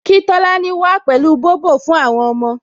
Kí Tolani wá pẹ̀lú Bobo fún àwọn ọmọ